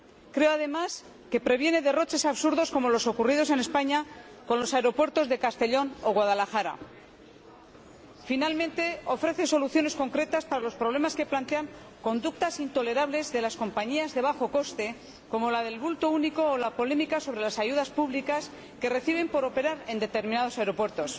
Creo, además, que previene derroches absurdos como los ocurridos en España con los aeropuertos de Castellón o Guadalajara. Finalmente, ofrece soluciones concretas para los problemas que plantean conductas intolerables de las compañías de bajo coste como la del bulto único o la polémica sobre las ayudas públicas que reciben por operar en determinados aeropuertos.